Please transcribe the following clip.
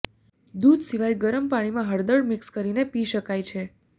દૂધ સિવાય ગરમ પાણીમાં હળદર મિક્સ કરીને પી શકાય છે